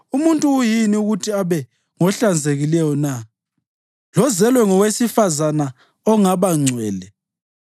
Umuntu uyini ukuthi abe ngohlanzekileyo na, lozelwe ngowesifazane ongaba ngcwele?